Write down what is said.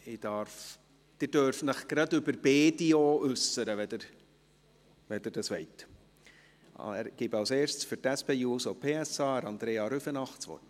Sie dürfen sich auch gleich zu beiden Berichten äussern, wenn Sie dies wollen.